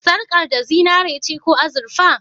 Sarƙar da zinare ce ko azurfa?